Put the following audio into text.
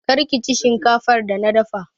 Kar kici shinkafar da na dafa!